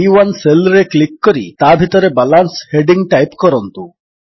B one cell ରେ click କରି ତାଭିତରେ ବାଲାନ୍ସ ହେଡିଙ୍ଗ୍ ଟାଇପ୍ କରନ୍ତୁ